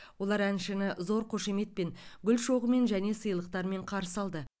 олар әншіні зор қошеметпен гүл шоғымен және сыйлықтармен қарсы алды